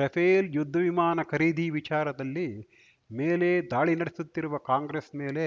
Rafale ಯುದ್ಧವಿಮಾನ ಖರೀದಿ ವಿಚಾರದಲ್ಲಿ ಮೇಲೆ ದಾಳಿ ನಡೆಸುತ್ತಿರುವ ಕಾಂಗ್ರೆಸ್‌ ಮೇಲೆ